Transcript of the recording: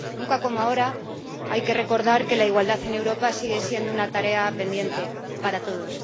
Nunca como ahora hay que recordar que la igualdad en Europa sigue siendo una tarea pendiente para todos.